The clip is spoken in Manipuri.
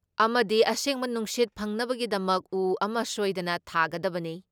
ꯑꯃꯗꯤ ꯑꯁꯦꯡꯕ ꯅꯨꯡꯁꯤꯠ ꯐꯪꯅꯕꯒꯤꯗꯃꯛ ꯎ ꯑꯃ ꯁꯣꯏꯗꯅ ꯊꯥꯒꯗꯕꯅꯤ ꯫